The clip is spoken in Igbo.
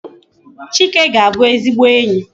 Chike ga-abu ezigbo enyi